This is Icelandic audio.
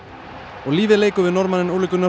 og lífið leikur við Norðmanninn Ole Gunnar